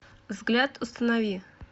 взгляд установи